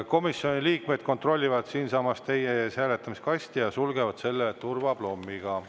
Komisjoni liikmed kontrollivad siinsamas teie ees hääletamiskasti ja sulgevad selle turvaplommiga.